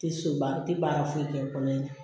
Tɛ soba tɛ baara foyi kɛ kɔnɔ in na